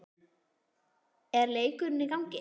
er leikurinn í gangi?